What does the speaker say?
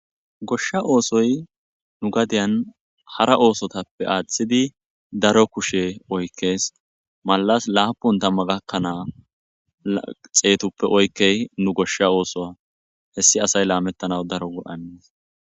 Goshsha oosoy nu gadiyan hara oosotappe aaththidi daro kushe oykkees malas laapun tamma gakkanaa xeetuppe oykkey nu goshsha oosoa hessi asay laamettanaw daro 7anes.